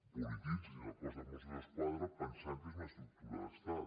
polititzin el cos de mossos d’esquadra pensant que és una estructura d’estat